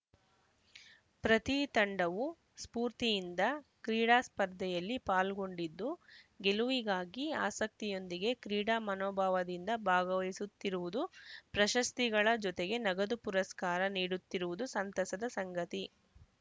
ಪ್ರತಿ ತಂಡವೂ ಸ್ಪೂರ್ತಿಯಿಂದ ಕ್ರೀಡಾ ಸ್ಪರ್ಧೆಯಲ್ಲಿ ಪಾಲ್ಗೊಂಡಿದ್ದು ಗೆಲುವಿಗಾಗಿ ಆಸಕ್ತಿಯೊಂದಿಗೆ ಕ್ರೀಡಾ ಮನೋಭಾವದಿಂದ ಭಾಗವಹಿಸುತ್ತಿರುವುದು ಪ್ರಶಸ್ತಿ ಗಳ ಜೊತೆಗೆ ನಗದು ಪುರಸ್ಕಾರ ನೀಡುತ್ತಿರುವುದು ಸಂತಸದ ಸಂಗತಿ